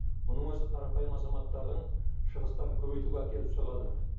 мұның өзі қарапайым азаматтардың шығыстарын көбейтуге әкеліп соғады